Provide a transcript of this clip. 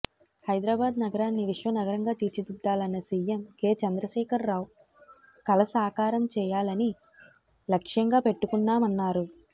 హైదరాబాద్ నగరాన్ని విశ్వ నగరంగా తీర్చిదిద్దాలన్న సిఎం కె చంద్రశేఖర్రావు కల సాకారం చేయాలని లక్ష్యంగా పెట్టుకున్నామన్నారు